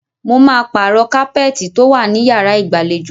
Mo máa pàrọ̀ kápẹ́ẹ́tì tó wà ní yàrá ìgbàlejò.